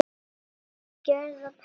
Með gjörð og prik.